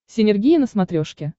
синергия на смотрешке